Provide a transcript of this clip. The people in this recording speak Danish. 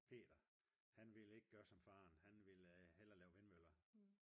peter han ville ikke gøre som faren. han ville hellere lave vindmøller